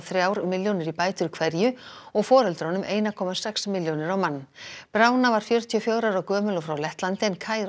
þrjár milljónir í bætur hverju og foreldrunum einum komma sex milljónir á mann var fjörutíu og fjögurra ára gömul og frá Lettlandi en